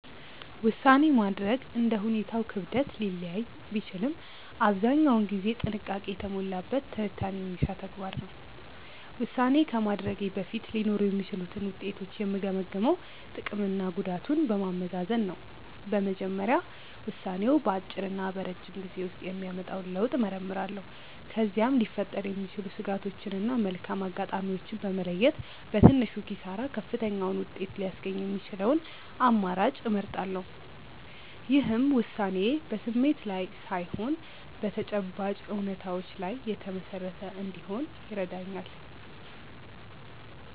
ውሳኔ ማድረግ እንደ ሁኔታው ክብደት ሊለያይ ቢችልም አብዛኛውን ጊዜ ጥንቃቄ የተሞላበት ትንታኔ የሚሻ ተግባር ነው። ውሳኔ ከማድረጌ በፊት ሊኖሩ የሚችሉትን ውጤቶች የምገመግመው ጥቅምና ጉዳቱን በማመዛዘን ነው። በመጀመሪያ ውሳኔው በአጭርና በረጅም ጊዜ ውስጥ የሚያመጣውን ለውጥ እመረምራለሁ። ከዚያም ሊፈጠሩ የሚችሉ ስጋቶችን እና መልካም አጋጣሚዎችን በመለየት፣ በትንሹ ኪሳራ ከፍተኛውን ውጤት ሊያስገኝ የሚችለውን አማራጭ እመርጣለሁ። ይህም ውሳኔዬ በስሜት ላይ ሳይሆን በተጨባጭ እውነታዎች ላይ የተመሰረተ እንዲሆን ይረዳኛል።